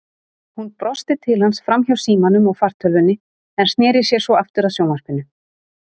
Hún brosti til hans framhjá símanum og fartölvunni en sneri sér svo aftur að sjónvarpinu.